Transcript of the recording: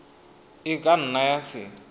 e ka nna ya se